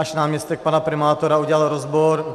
Až náměstek pana primátora udělal rozbor.